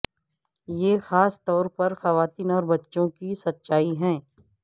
یہ خاص طور پر خواتین اور بچوں کی سچائی ہے